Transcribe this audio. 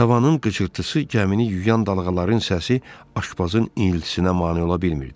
Tavanın qıcırtısı, gəmini yuyan dalğaların səsi aşpazın ilhisinə mane ola bilmirdi.